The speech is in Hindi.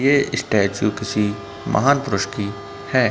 ये स्टेचू किसी महान पुरुष की है।